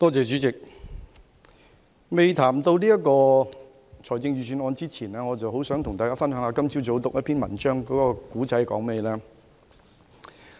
主席，在談及這份財政預算案之前，我很想跟大家分享一下我今早閱讀的文章內容。